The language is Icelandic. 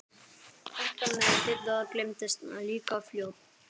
Þetta með Didda gleymdist líka fljótt.